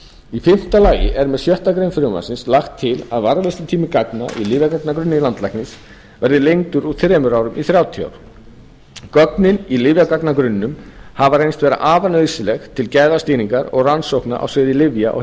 í fimmta lagi er með sjöttu greinar frumvarpsins lagt til að varðveislutími gagna í lyfjagagnagrunni landlæknis verði lengdur úr þremur árum í þrjátíu ár gögnin í lyfjagagnagrunninum hafa reynst vera afar nauðsynleg til gæðastýringar og rannsókna á sviði lyfja og